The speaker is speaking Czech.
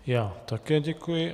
Já také děkuji.